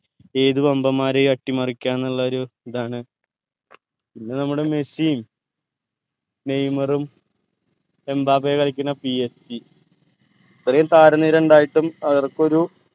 ഏത് വമ്പൻമാരേയു അട്ടി മറിക്ക ന്നുള്ള ഒരു ഇതാണ് പിന്നെ നമ്മുടെ മെസ്സി നെയ്മറും എംബാപ്പേ കളിക്കണ PSG ഇത്രേം താര നിര ഇണ്ടായിട്ടു അവർക്കൊരു